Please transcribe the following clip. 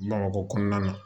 Bamakɔ kɔnɔna na